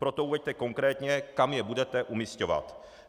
Proto uveďte konkrétně, kam je budete umisťovat.